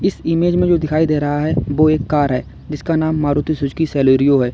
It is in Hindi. इस इमेज में जो दिखाई दे रहा है वह एक कार है जिसका नाम मारुति सुजुकी सेलेरियो है।